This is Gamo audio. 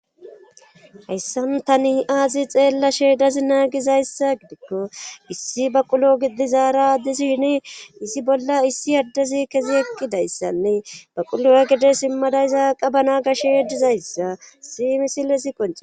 hayssanu tani aazi xeella sheedazi naagizayssa gidikko issi ba qulo gidizaara disishini issi bolla issi addezi kezi eqqidayssanne ba qulowa gide simmadayzaaqa bana gashe dizayssa si misile si qoncee